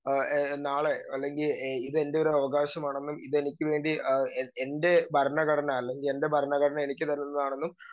speaker 2 ആഹ് നാളെ അല്ലെങ്കി ഇതെൻറെ ഒരവകാശമാണെന്നും ഇതെനിക്കു വേണ്ടി ആഹ് എൻറെ ഭരണഘടന അല്ലെങ്കി എൻറെ ഭരണഘടന എനിക്ക് തരുന്നതാണെന്നും